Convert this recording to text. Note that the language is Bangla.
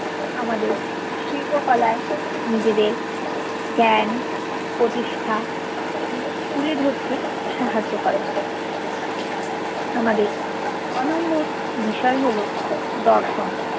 আমাদের শিল্পকলায় নিজেদের জ্ঞান প্রতিষ্ঠা এগুলো তুলে ধর্তে সাহায্য করে আমাদের ছয় নম্বর বিষয় হল দর্শন